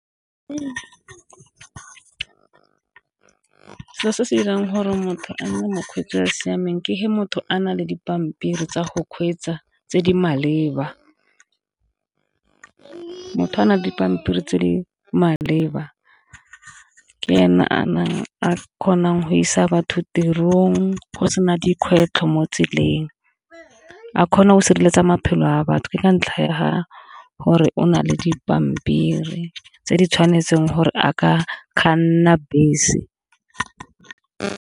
Selo se se dirang gore motho a nne mokgweetsi o o siameng ke fa motho a na le dipampiri tsa go kgweetsa tse di maleba, motho o a na le dipampiri tse di maleba ke ene a kgonang go isa batho tirong go sena dikgwetlho mo tseleng, a kgona go sireletsa maphelo a batho ke ka ntlha ya fa gore o na le dipampiri tse di tshwanetseng gore a ka kganna bese.